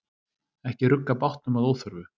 Ekki rugga bátnum að óþörfu.